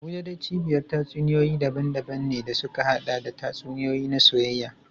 Abuja dai cibiyar tatsuniyoyi daban-daban ne da suka haɗa da tatsuniyoyi na soyayya.